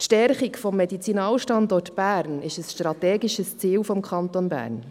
Die Stärkung des Medizinalstandorts Bern ist ein strategisches Ziel des Kantons Bern.